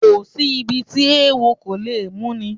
Kò sí ibi tí eewo kò ti lè múni